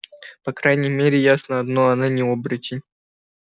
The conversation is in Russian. по крайней мере ясно одно она не оборотень